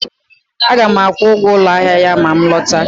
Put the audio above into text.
Aga m akwụ ụgwọ ụlọ ahịa ya ma m lọta